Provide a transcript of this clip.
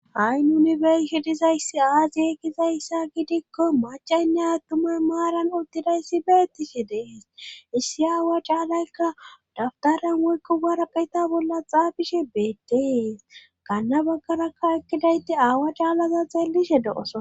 Ha7i nunibershidizayssi aasiye gizayssa gidikko macaynne aattumay maaran uttidayssi beettishe dees issi aawa caalaykka dabtaran woykko baraqayta bolla xaafishe beettees kanna baggarakka ekkidayti aawa caalaza xeellishe do7oso.